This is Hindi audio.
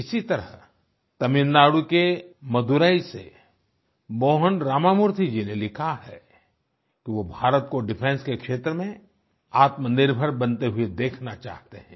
इसी तरह तमिलनाडु के मदुरै से मोहन रामामूर्ति जी ने लिखा है कि वो भारत को डिफेंस के क्षेत्र में आत्मनिर्भर बनते हुए देखना चाहते हैं